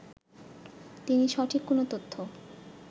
তিনি সঠিক কোন তথ্য